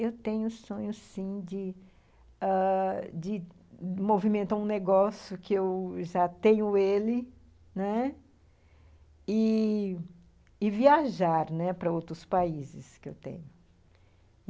Eu tenho o sonho, sim, ãh... de movimentar um negócio, que eu já tenho ele, né, e viajar, né, para outros países que eu tenho.